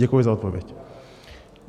Děkuji za odpověď.